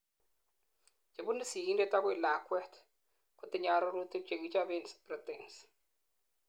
chebunu sigindet agoi lakwet, kotinyei arorutik chekichoben proteins